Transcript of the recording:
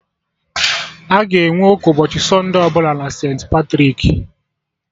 Aga enwe ụka ụbọchị sunde ọbụla na St.Patrik